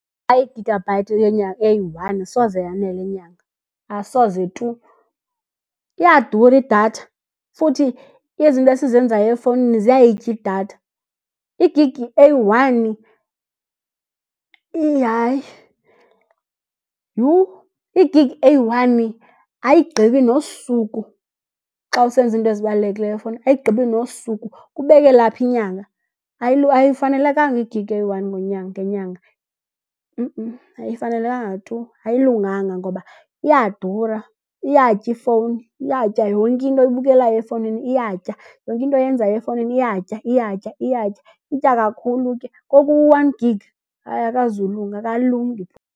I-gigabyte eyi-one soze yanele inyanga, asoze tu. Iyadura idatha futhi izinto esizenzayo efowunini ziyayitya idatha. Igigi eyi-one hayi, yhu! Igigi eyi-one ayigqibi nosuku xa usenza iinto ezibalulekileyo efowunini, ayigqibi nosuku. Kubekelaphi inyanga? Ayifanelekanga igigi eyi-one ngenyanga ayifanelekanga tu ayilunganga ngoba iyadura, iyatya ifowuni, iyatya yonke into oyibukelayo efowunini iyatya. Yonke into oyenzayo efowunini iyatya, iyatya, iyatya, itya kakhulu ke. Ngoku u-one gig hayi akazulunga akalungi.